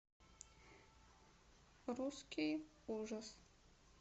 русский ужас